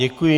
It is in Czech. Děkuji.